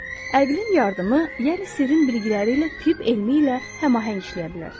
Ağlın yardımı, yəni sirrin bilgiləri ilə tibb elmi ilə həmaəhəng işləyə bilər.